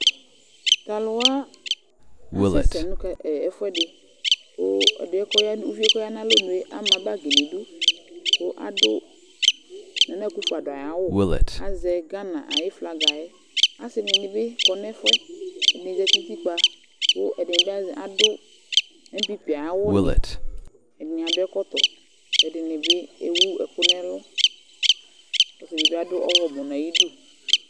Tʋ alʋ wa, asɛsɛ nʋ kat ɛ ɛfʋɛdɩ kʋ ɛdɩ yɛ kʋ ɔya uvi yɛ kʋ ɔya nʋ alɔnu yɛ ama bagɩ nʋ idu kʋ adʋ nana akufo ado ayʋ awʋ Azɛ gana ayʋ flaga yɛ Asɩnɩ dɩ bɩ kɔ nʋ ɛfʋ yɛ Ɛdɩnɩ zati nʋ utikpǝ kʋ ɛdɩnɩ bɩ az adʋ ɛmpipi ayʋ awʋnɩ, ɛdɩnɩ adʋ ɛkɔtɔ kʋ ɛdɩnɩ bɩ ewu ɛkʋ nʋ ɛlʋ kʋ ɔsɩ dɩ bɩ adʋ ɔɣlɔmɔ nʋ ayidu